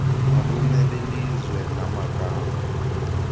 nobume belizwe namagama